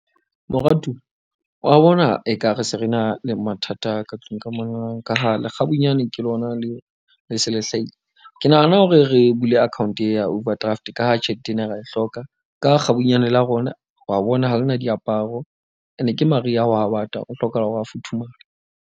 Moratuwa wa bona ekare se re na le mathata ka tlung ka mona ka ha lekgabunyane ke lona le se le hlahile. Ke nahana hore re bule account e ya overdraft. Ka ha tjhelete ena re a e hloka ka ha kgabanyane la rona wa bona ha lena diaparo. Ene ke maria hwa bata o hloka hore a futhumale.